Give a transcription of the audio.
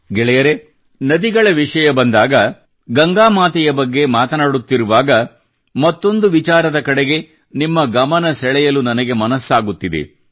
ಗೆಳೆಯರೇ ನದಿಗಳ ವಿಷಯ ಬಂದಾಗ ಗಂಗಾ ಮಾತೆಯ ಬಗ್ಗೆ ಮಾತನಾಡುತ್ತಿರುವಾಗ ಮತ್ತೊಂದು ವಿಚಾರದ ಕಡೆಗೆ ನಿಮ್ಮ ಗಮನ ಸೆಳೆಯಲು ನನಗೆ ಮನಸ್ಸಾಗುತ್ತಿದೆ